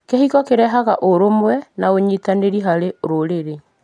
Kĩhiko kĩrehaga ũrũmwe na ũnyitanĩri harĩ rũrĩrĩ.